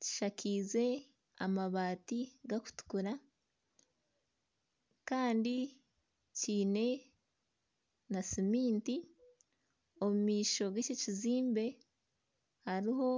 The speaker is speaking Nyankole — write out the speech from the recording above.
kishakize amabaati gakutukura kandi kyine na suminti omu maisho g'ekyo ekizimbe hariho